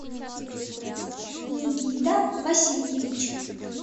никита васильевич